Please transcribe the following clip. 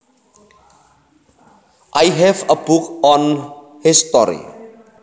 I have a book on history